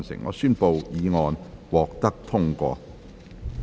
我宣布議案獲得通過。